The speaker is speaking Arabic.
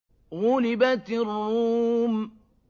غُلِبَتِ الرُّومُ